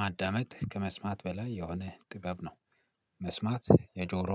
ማዳመጥ ከመስማት በላይ የሆነ ጥበብ ነው። መስማት የጆሮ